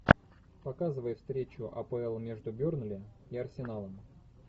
показывай встречу апл между бернли и арсеналом